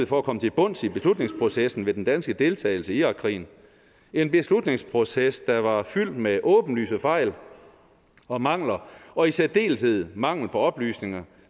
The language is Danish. for at komme til bunds i beslutningsprocessen ved den danske deltagelse i irakkrigen en beslutningsproces der var fyldt med åbenlyse fejl og mangler og i særdeleshed mangel på oplysninger